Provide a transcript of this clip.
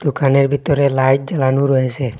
দোকানের ভিতরে লাইট জ্বালানো রয়েসে।